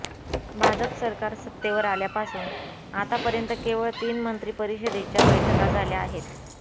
भाजप सरकार सत्तेवर आल्यापासून आतापर्यंत केवळ तीन मंत्री परिषदेच्या बैठका झाल्या आहेत